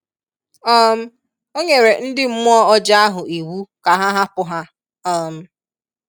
um O nyere ndị mmụọ ọjọọ ahụ iwu ka ha hapụ ha. um